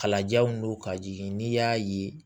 Kalajanw don ka jigin n'i y'a ye